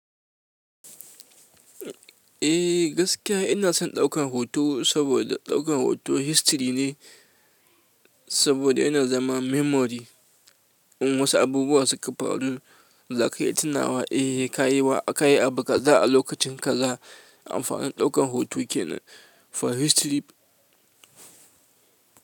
Eh gaskiya ina son ɗaukan hoto saboda ɗaukan hoto history ne saboda yana zama memory. In wasu abubuwa suka faru, za ka iya tunawa eh ka yi wa. Ka yi abu za'a lokacin kaza, amfanin ɗaukan hoto kenan for history.